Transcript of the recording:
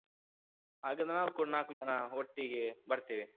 ಹಾಗಾದ್ರೆ ನಾವೂ ಕೂಡ ನಾಕು ಜನ ಒಟ್ಟಿಗೇ ಬರ್ತೇವೆ.